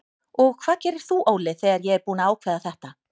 Og hvað gerir þú Óli þegar ég er búinn að ákveða þetta?